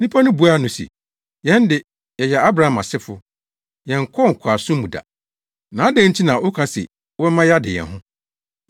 Nnipa no buaa no se, “Yɛn de, yɛyɛ Abraham asefo. Yɛnkɔɔ nkoasom mu da, na adɛn nti na woka se wobɛma yɛade yɛn ho?”